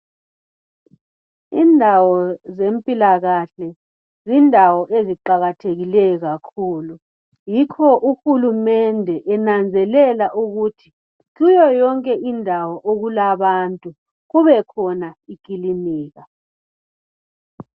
Indawo zempilakahle zindawo eziqakathekileyo kakhulu yikho uhulumende enanzelela ukuthi kuyo yonke indawo okulabantu kubekhona ikilinika